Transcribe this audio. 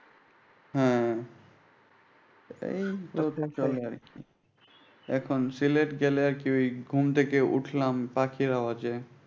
হ্যাঁ এইতো এটাই চলে আর কি। এখন সিলেট গেলে আর কি ঐ ঘুম থেকে উঠলাম পাখি আওয়াজে।